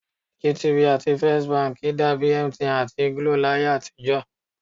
GTB àti First Bank dàbi MTN àti GLO láyé àtijọ́